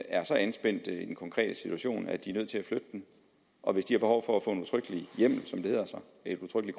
er så anspændt i den konkrete situation at de er nødt til flytte den og hvis de har behov for at få en udtrykkelig